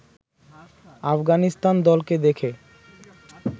আফগানিস্তান দলকে দেখে